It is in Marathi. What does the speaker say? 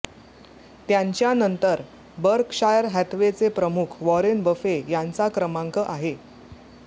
त्यांच्यानंतर बर्कशायर हॅथवेचे प्रमुख वारेन बफे यांचा क्रमांक आहे